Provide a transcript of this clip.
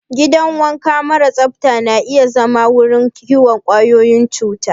Gidan wanka mara tsafta na iya zama wurin kiwon ƙwayoyin cuta.